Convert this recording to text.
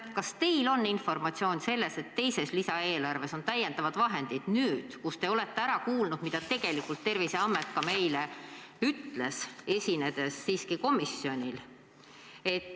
Kas teil on informatsiooni selle kohta, et teises lisaeelarves on olemas täiendavad vahendid, nüüd kus te olete ära kuulanud, mida tegelikult Terviseamet meile ütles, esinedes siiski komisjoni istungil?